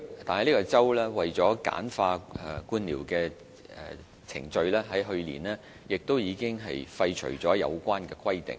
但該州為了簡化官僚程序，在去年已廢除了有關規定。